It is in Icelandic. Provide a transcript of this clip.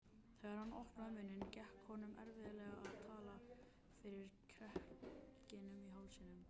Þegar hann opnaði munninn gekk honum erfiðlega að tala fyrir kekkinum í hálsinum.